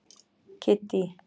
Kiddý